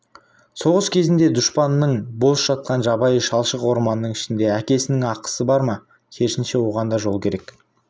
соғыс кезінде дұшпанның бос жатқан жабайы шалшық орманның ішінде әкесінің ақысы бар ма керісінше оған да жол керек